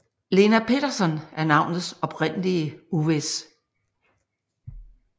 Lena Peterson er navnets oprindelse uvis